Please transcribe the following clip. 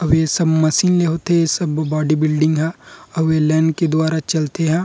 अब इ सब मशीन ले होथे इ सब बॉडी बिल्डिंग ह अउ ये लाइन के दवारा चलते ह।